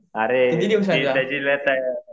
अरे ती त्याची